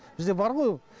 бізде бар ғой ол